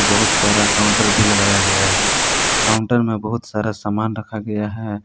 बहुत सारा काउंटर भी लगाया गया है। काउंटर में बहुत सारा सामान रखा गया है।